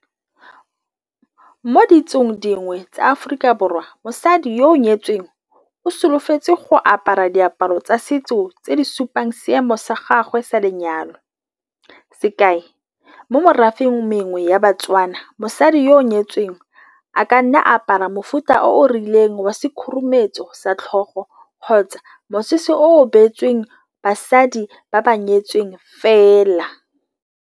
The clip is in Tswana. Mo ditsong dingwe tsa Aforika Borwa, mosadi yo o nyetsweng o solofetse go apara diaparo tsa setso tse di supang seemo sa gagwe sa lenyalo. Sekai, mo merafeng mengwe ya Batswana, mosadi yoo nyetsweng a ka nna a apara mofuta o o rileng wa se khurumetso sa tlhogo kgotsa mosese o o beetsweng basadi ba ba nyetseng fela.